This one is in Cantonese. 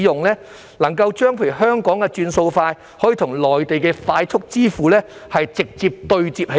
例如怎樣將香港的"轉數快"與內地的快速支付直接對接呢？